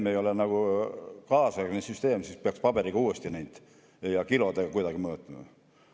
See ei ole kaasaegne, kui peaks uuesti paberiga ja kilodega kuidagi mõõtma.